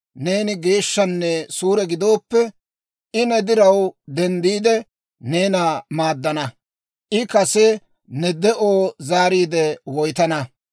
neeni geeshshanne suure gidooppe, I ne diraw denddiide, neena maaddana; I kase ne de'oo zaariide woytana.